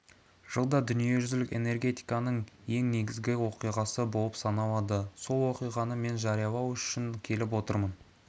жылда дүниежүзілік энергетиканың ең негізгі оқиғасы болып саналады сол оқиғаны мен жариялау үшін келіп отырмын